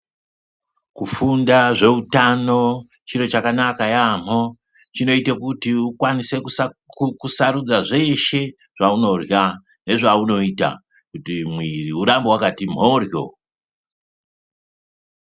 Kufunda zveutano chiro chakanaka yaamho chinoite kuti ukwanise kusarudza zveshe zvaunorya nezvaunoita kuti mwiri urambe wakati mhoryo.